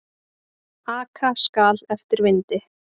Aka skal eftir vindi.